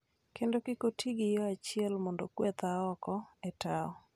kendo kik oti gi yo achiel mondo ogwetha oko e tao,